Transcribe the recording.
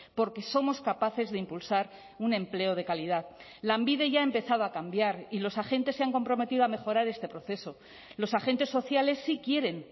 porque somos capaces de impulsar un empleo de calidad lanbide ya ha empezado a cambiar y los agentes se han comprometido a mejorar este proceso los agentes sociales sí quieren